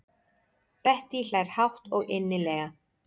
Bettý hlær hátt og innilega.